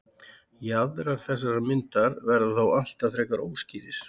Jaðrar þessarar myndar verða þó alltaf frekar óskýrir.